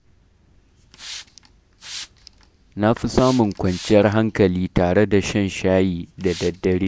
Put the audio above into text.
Na fi samun kwanciyar hankali tare da shan shayi da dare.